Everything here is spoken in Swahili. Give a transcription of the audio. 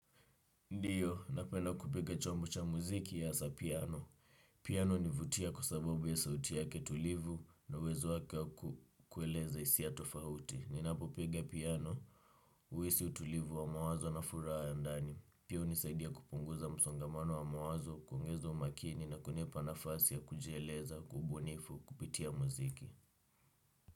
Ndiyo, napenda kupiga chombo cha muziki asa piano. Piano univutia kwa sababu ya sauti yake tulivu na uwezo wake wa kueleza isia tofahuti. Ninapopiga piano, uisi utulivu wa mawazo na furaha ya ndani. Pia unisaidia kupunguza msongamano wa mawazo, kuongeza umakini na kunipa nafasi ya kujieleza, kwa ubunifu, kupitia muziki.